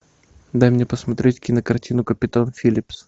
дай мне посмотреть кинокартину капитан филлипс